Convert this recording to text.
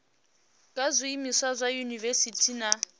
kha zwiimiswa sa dziyunivesiti na